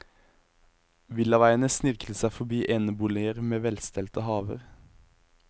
Villaveiene snirkler seg forbi eneboliger med velstelte haver.